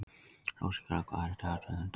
Rósinkara, hvað er í dagatalinu í dag?